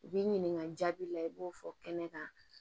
U b'i ɲininka jaabi la i b'o fɔ kɛnɛ kan